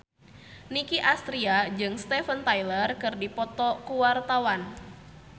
Nicky Astria jeung Steven Tyler keur dipoto ku wartawan